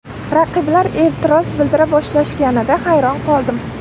Raqiblar e’tiroz bildira boshlashganida hayron qoldim.